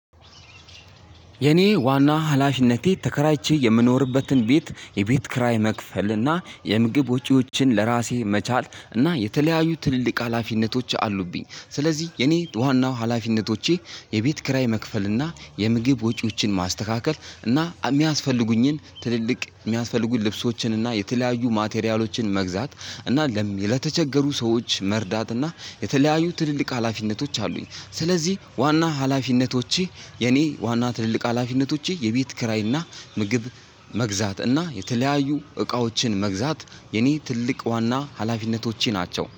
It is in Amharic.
የኔ ዋና ሀላፊነቴ ተከራይቼ የምኖርበትን ቤት የቤት ክራይ መክፈል እና የምግብ ወጪዎችን ለራሴ መቻል እና የተለያዩ ትልቅ ሀላፊነቶች አሉብኝ። ስለዚህ የኔ ዋናው ሀላፊነቶቼ የቤት ክራይ መክፈል እና የምግብ ወጪዎችን ማስተካከል እና የሚያስፈልጉኝን ትልልቅ የሚያስፈልጉኝን ልብሶችን እና የተለያዩ ማቴሪያሎችን መግዛት እና ለተቸገሩ ሰዎች መርዳት እና የተለያዩ ትልልቅ ሀላፊነቶች አሉኝ። ስለዚህ ዋና ሀላፊነቶቼ የኔ ዋና ትልልቅ ሀላፊነቶቼ የቤት ክራይና ምግብ መግዛት እና የተለያዩ እቃዎችን መግዛት። የኔ ትልቅ ዋና ሀላፊነቶቼ ናቸው